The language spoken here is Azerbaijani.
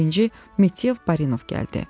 Birinci Meteyev Barinov gəldi.